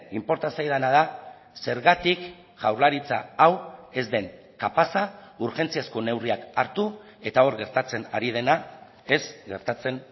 inporta zaidana da zergatik jaurlaritza hau ez den kapaza urgentziazko neurriak hartu eta hor gertatzen ari dena ez gertatzen